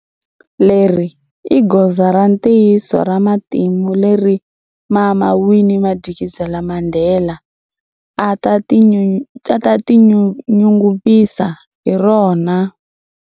Leri i goza ra ntiyiso ra matimu leri Mama Winnie Madikizela-Mandela a ta tinyungukisa hi rona.